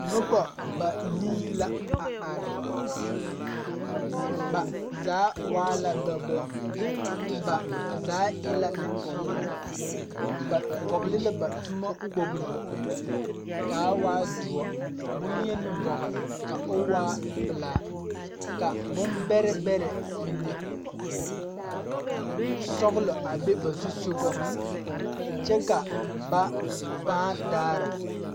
Nobɔ banii la a are ba zaa waala dɔbɔ ba zaa e la Neŋpeɛɛle ba vɔgle la ba tommo kpogle kaa waa doɔ bonyeni vɔgle ka o waa pilaa ka bon bɛrɛ bɛrɛ mine sɔglɔ a be ba zusugɔ kyɛ ka ba pãã daara.